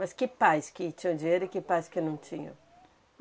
Mas que pais que tinham dinheiro e que pais que não tinham?